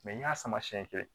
n y'a sama sɛn kɛ